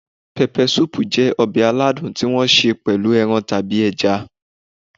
Peppersoup jẹ́ ọbẹ̀ aladùn tí wọ́n ṣe pẹ̀lú ẹran tàbí ẹja.